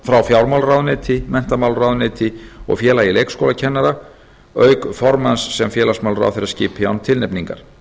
frá fjármálaráðuneyti menntamálaráðuneyti og félagi leikskólakennara auk formanns sem félagsmálaráðherra skipi án tilnefningar